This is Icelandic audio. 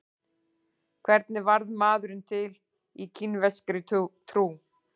Hvernig varð maðurinn til í kínverskri trú?